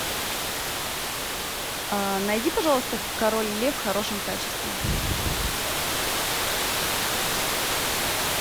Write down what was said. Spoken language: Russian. найди пожалуйста король лев в хорошем качестве